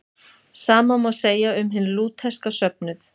sama má segja um hinn lútherska söfnuð